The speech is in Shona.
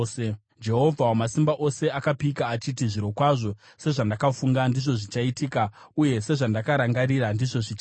Jehovha Wamasimba Ose akapika achiti: “Zvirokwazo sezvandakafunga ndizvo zvichaitika, uye sezvandakarangarira ndizvo zvichaitika.